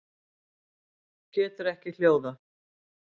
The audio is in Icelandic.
Getur ekki hljóðað.